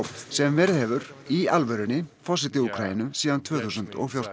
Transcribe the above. sem verið hefur í alvörunni forseti Úkraínu síðan tvö þúsund og fjórtán